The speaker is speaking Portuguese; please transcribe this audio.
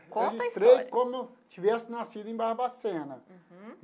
Conta a história. Registrei como tivesse nascido em Barbacena. Uhum.